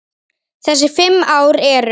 Þessi fimm ár eru